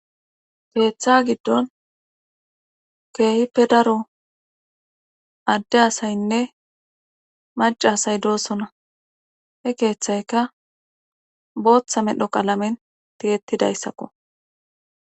Keeththa giddon keehippe daro adde asaynne maca asay doosona he keeththayka booththa medho qalamen tiyettidayssakko